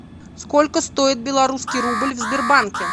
сколько стоит белорусский рубль в сбербанке